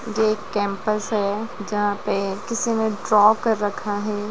ये एक कैंपस है जहाँ पे किसी ने ड्रॉ कर रखा है।